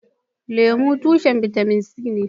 Lemu, tushen bitamin C ne.